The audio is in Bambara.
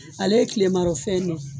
Ale ye kilemarɔ fɛn ne ye